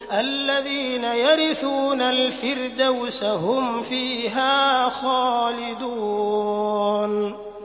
الَّذِينَ يَرِثُونَ الْفِرْدَوْسَ هُمْ فِيهَا خَالِدُونَ